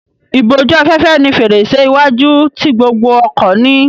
Ìbójú-afẹ́fẹ́ ni fèrèsé iwájú tí gbogbo ọkọ̀ ní.